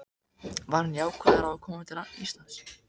Var hann jákvæður á að koma til Íslands?